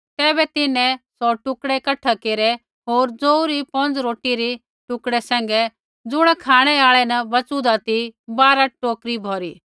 तैबै तिन्हैं सौ टुकड़ै कठै केरै होर जौऊ री पौंज़ रोटी रै टुकड़ै सैंघै ज़ुण खाँणै आल़ै न बचुन्दा ती बारा टोकरी भौरी